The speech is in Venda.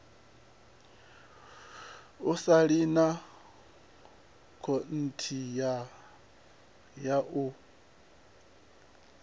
u saina konṱiraka ya u